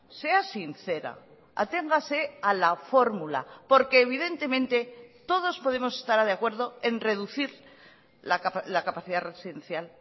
sea sincera aténgase a la fórmula porque evidentemente todos podemos estar de acuerdo en reducir la capacidad residencial